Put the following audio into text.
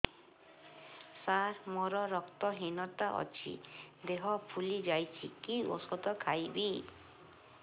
ସାର ମୋର ରକ୍ତ ହିନତା ଅଛି ଦେହ ଫୁଲି ଯାଉଛି କି ଓଷଦ ଖାଇବି